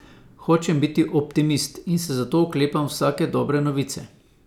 Hočem biti optimist in se zato oklepam vsake dobre novice.